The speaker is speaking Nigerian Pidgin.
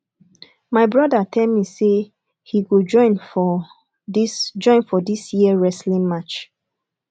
my broda tell me say he go join for dis join for dis year wrestling match